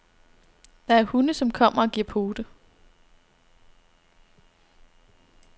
Der er hunde, som kommer og giver pote.